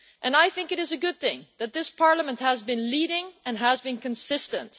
I think it is a good thing that this Parliament has been leading and has been consistent.